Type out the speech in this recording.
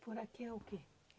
Poraquê é o quê?